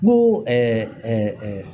N ko